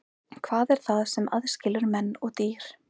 Hvað er það sem aðskilur menn og dýr?